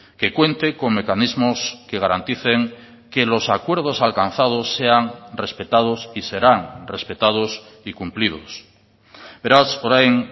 que cuente con mecanismos que garanticen que los acuerdos alcanzados sean respetados y serán respetados y cumplidos beraz orain